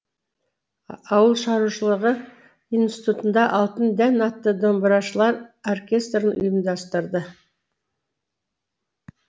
ауылшаруашылығы институтында алтын дән атты домбырашылар ұйымдастырды